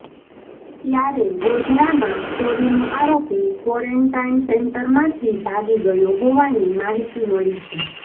ત્યારે ગોધરામાં ચોરીનો આરોપી ક્વોરેન્ટાઈન સેન્ટરમાંથી ભાગી ગયો હોવાની માહિતી મળી છે